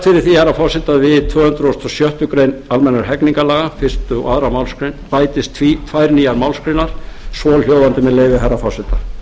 forseti að við tvö hundruð og sjöttu grein almennra hegningarlaga fyrstu og annarri málsgrein bætist tvær nýjar málsgreinar svohljóðandi með leyfi herra forseta